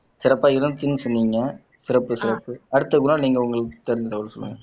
சிறப்பா இருந்துச்சுன்னு சொன்னீங்க சிறப்பு சிறப்பு அடுத்த குணால் நீங்க உங்களுக்கு தெரிஞ்ச தகவல் சொல்லுங்க